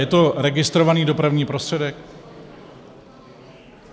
Je to registrovaný dopravní prostředek?